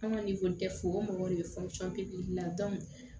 An ka ni ko tɛ fo mɔgɔ de bɛ la